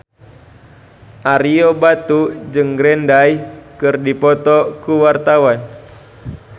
Ario Batu jeung Green Day keur dipoto ku wartawan